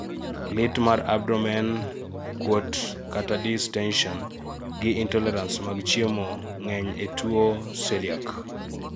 lit mar abdomen, kuot(distention),gi intolerance mag chiemo ng'eny e tuwo celiac